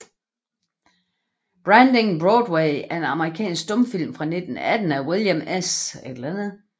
Branding Broadway er en amerikansk stumfilm fra 1918 af William S